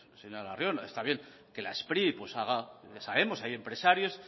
señor arriola está bien que la spri haga pues haga ya sabemos hay empresarios